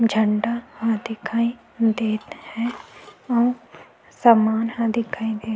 झंडा ह दिखाई देत हे सामान दिखाई देत हे।